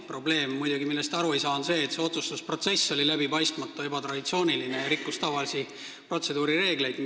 Probleem, millest te aru ei saa, on aga see, et otsustusprotsess oli läbipaistmatu, ebatraditsiooniline ja rikkus tavalisi protseduurireegleid.